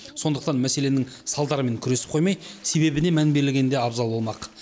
сондықтан мәселенің салдарымен күресіп қоймай себебіне мән берілгені де абзал болмақ